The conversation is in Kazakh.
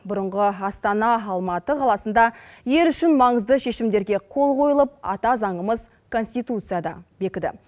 бұрыңғы астана алматы қаласында ел үшін маңызды шешімдерге қол қойылып ата заңымыз конституция да бекіді